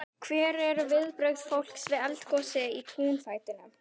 Hver eru viðbrögð fólks við eldgosi í túnfætinum?